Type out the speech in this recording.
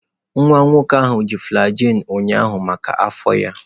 Nwa nwoke ahụ ji flagyl ụnyaahụ maka afọ ya.